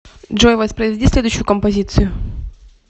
джой воспроизведи следующую композицию